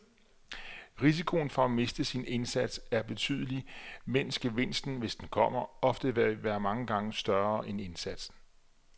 Risikoen for at miste sin indsats er betydelig, mens gevinsten, hvis den kommer, ofte vil være mange gange større end indsatsen.